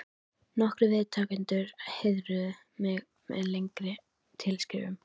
Nokkrir viðtakendur heiðruðu mig með lengri tilskrifum.